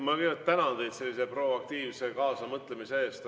Ma kõigepealt tänan teid sellise proaktiivse kaasamõtlemise eest!